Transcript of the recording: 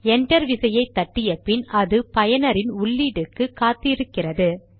enter விசையை தட்டிய பின் அது பயனரின் உள்ளீட்டுக்கு காத்து இருக்கிறது